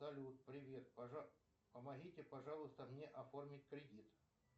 салют привет помогите пожалуйста мне оформить кредит